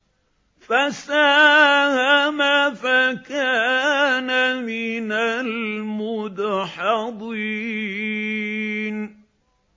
فَسَاهَمَ فَكَانَ مِنَ الْمُدْحَضِينَ